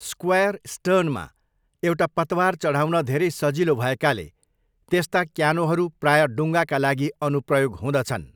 Square स्टर्नमा एउटा पतवार चढाउन धेरै सजिलो भएकाले, त्यस्ता क्यानोहरू प्राय डुङ्गाका लागि अनुप्रयोग हुँदछन्।